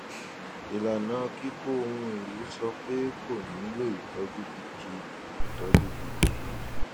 ìlànà kíkó ohun èlò sọ pé kò nílò ìtọjú gidi ìtọjú gidi